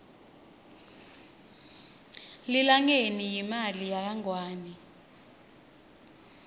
lilangeni yimali yakangwane